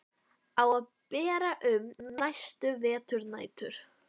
Á að bera um næstu veturnætur.